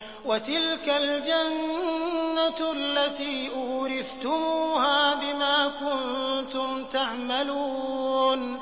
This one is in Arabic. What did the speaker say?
وَتِلْكَ الْجَنَّةُ الَّتِي أُورِثْتُمُوهَا بِمَا كُنتُمْ تَعْمَلُونَ